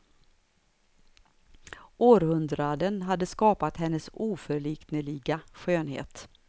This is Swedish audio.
Århundraden hade skapat hennes oförlikneliga skönhet.